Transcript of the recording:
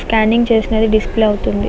Scanning చేసినది display అవుతుంది.